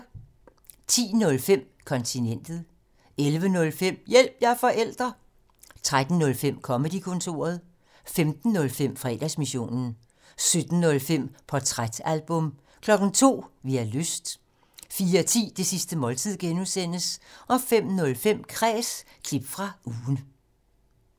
10:05: Kontinentet 11:05: Hjælp – jeg er forælder! 13:05: Comedy-kontoret 15:05: Fredagsmissionen 17:05: Portrætalbum 02:00: Vi har lyst 04:10: Det sidste måltid (G) 05:05: Kræs – klip fra ugen